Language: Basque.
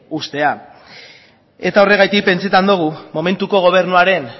uztea eta horregatik pentsatzen dugu momentuko gobernuaren